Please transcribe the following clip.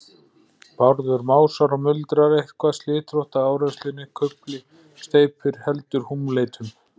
Bárður másar og muldrar eitthvað, slitrótt af áreynslunni. kufli steypir. heldur húmleitum.